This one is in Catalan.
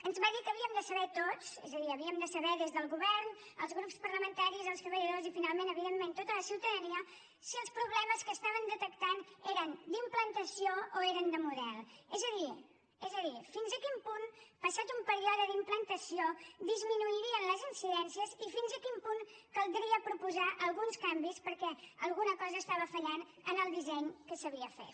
ens va dir que havíem de saber tots és a dir havíem de saber des del govern els grups parlamentaris els treballadors i finalment evidentment tota la ciutadania si els problemes que estaven detectant eren d’implantació o eren de model és a dir és a dir fins a quin punt passat un període d’implantació disminuirien les incidències i fins a quin punt caldria proposar alguns canvis perquè alguna cosa estava fallant en el disseny que s’havia fet